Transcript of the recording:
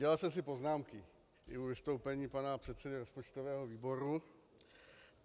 Dělal jsem si poznámky i u vystoupení pana předsedy rozpočtového výboru.